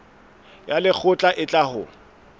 ya lekgotla e tla ho